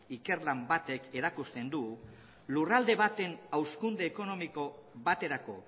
ikerlan batek erakusten du lurralde baten hazkunde ekonomiko baterako